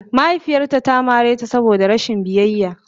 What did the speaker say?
Mahaifiyarta ta mare ta saboda rashin biyayya.